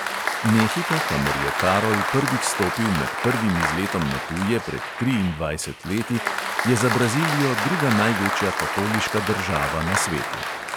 Mehika, kamor je karol prvič stopil med prvim izletom na tuje, pred triindvajsetimi leti, je za brazilijo druga največja katoliška država na svetu.